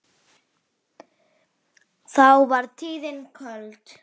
þá var tíðin köld